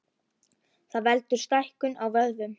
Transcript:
Hvað veldur stækkun á vöðvum?